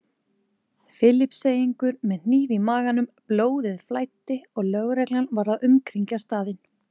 Filippseyingur með hníf í maganum, blóðið flæddi og lögreglan var að umkringja staðinn.